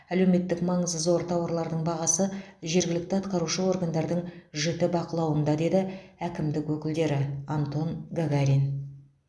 әлеуметтік маңызы зор тауарлардың бағасы жергілікті атқарушы органдардың жіті бақылауында деді әкімдік өкілдері антон гагарин